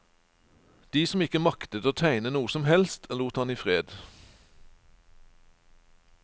De som ikke maktet å tegne noe som helst, lot han i fred.